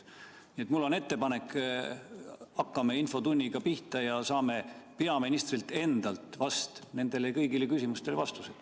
Nii et mul on ettepanek: hakkame infotunniga pihta ja saame peaministrilt endalt kõigile nendele küsimustele vastused.